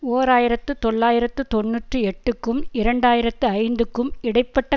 ஓர் ஆயிரத்து தொள்ளாயிரத்து தொன்னூற்றி எட்டுக்கும் இரண்டு ஆயிரத்து ஐந்துக்கும் இடை பட்ட